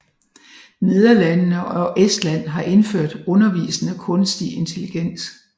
Nederlandene og Estland har indført undervisende kunstig intelligens